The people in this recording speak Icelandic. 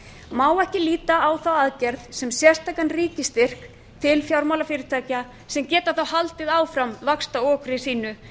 má ekki líta á þá aðgerð sem sérstakan ríkisstyrk til fjármálafyrirtækja sem geta þó haldið áfram vaxtaokri sínu en